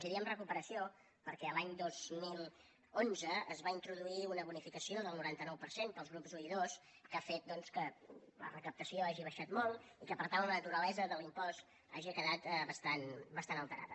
i diem recuperació perquè l’any dos mil onze es va introduir una bonificació del noranta nou per cent per als grups i i ii que ha fet que la recaptació hagi baixat molt i que per tant la naturalesa de l’impost hagi quedat bastant alterada